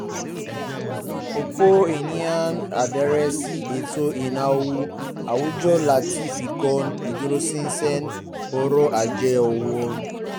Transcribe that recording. ọ̀pọ̀ ènìyàn ń darí sí ètò ìnáwó àwùjọ láti fikún ìdúróṣinṣin ọrọ̀ ajé wọn